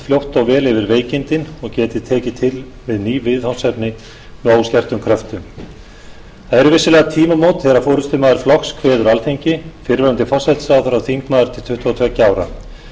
fljótt og vel yfir veikindin og geti tekið til við ný viðfangsefni með óskertum kröftum það eru vissulega tímamót þegar forustumaður flokks kveður alþingi fyrrverandi forsætisráðherra og þingmaður til tuttugu og tveggja ára